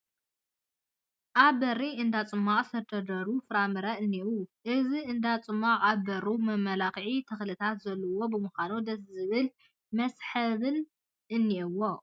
ኣብ በሪ እንዳ ፅሟቕ ዝተደርደሩ ፍራምረ እኔዉ፡፡ እዚ እንዳ ፅማቅ ኣብ በሩ መመላክዒ ተኽልታት ዘለዉዎ ብምኳኑ ደስ ዝብል መስሕብነት እኔዎ፡፡